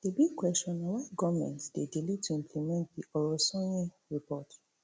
di big question na why goment dey delay to implement di orosanye report